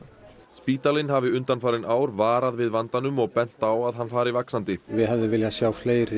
spítalinn hafi undanfarin ár varað við vandanum og bent á að hann fari vaxandi við hefðum vilja sjá fleiri